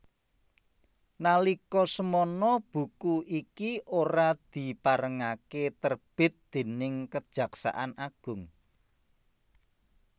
Nalika semana buku iki ora diparengaké terbit déning Kejaksan Agung